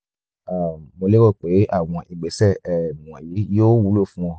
um mo lérò pé àwọn ìgbésẹ̀ um wọ̀nyí yóò wúlò fún ọ